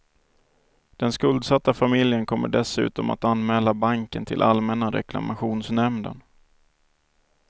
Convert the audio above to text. Den skuldsatta familjen kommer dessutom att anmäla banken till allmänna reklamationsnämnden.